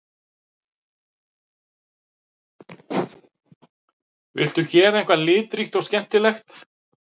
Vildu gera eitthvað litríkt og skemmtilegt